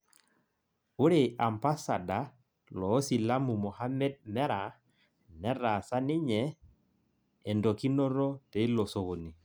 Ore ambasada loo silamu Mohamed Merah netaasa niye endokinoto teilo sokoni